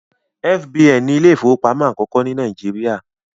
F.B.N ni Ilé ìfowópamọ́ akoko ní Nàìjíríà